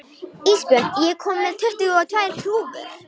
Ísbjörn, ég kom með tuttugu og tvær húfur!